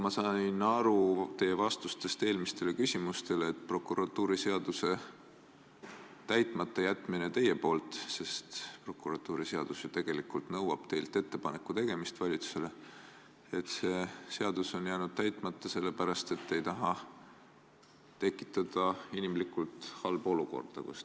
Ma sain teie vastustest eelmistele küsimustele aru nii, et olete prokuratuuriseaduse täitmata jätnud – prokuratuuriseadus ju nõuab teilt valitsusele ettepaneku tegemist – selle pärast, et te puhtinimlikult ei taha tekitada halba olukorda.